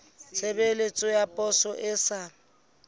tshebeletso ya poso e sa